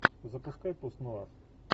запускай пост нуар